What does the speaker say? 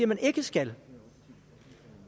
man ikke skal